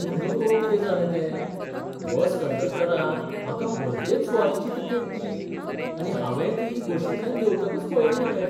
तूं नकळो कितें जालें तें. बस कंडक्टरान म्हाका भलतेच सुवातेची तिकेट दिली, आनी हावेंय ती बशींतल्यान देंवतकच पळयली मरे!